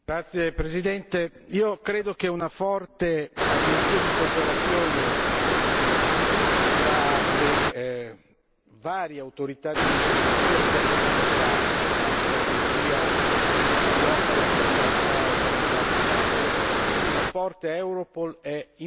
Io credo che una forte agenzia di cooperazione tra le varie autorità di polizia sia fondamentale nella strategia di lotta alla criminalità organizzata in campo europeo, e quindi una forte Europol è importantissima.